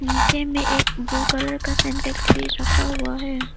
पीछे मे एक ब्लू कलर का सिंटेक्स भी रखा हुआ है।